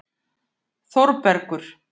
Þórbergur